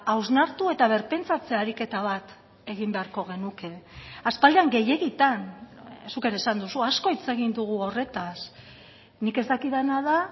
hausnartu eta birpentsatze ariketa bat egin beharko genuke aspaldian gehiegitan zuk ere esan duzu asko hitz egin dugu horretaz nik ez dakidana da